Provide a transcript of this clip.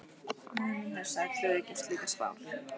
Móðir mín hnussaði, trúði ekki á slíkar spár.